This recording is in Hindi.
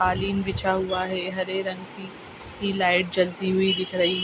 कालीन बिछा हुआ है हरे रंग की सी लाइट जलती हुई दिख रही।